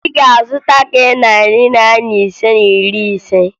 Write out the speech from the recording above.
Ị ga-azụta nke narị Naira ise na iri ise?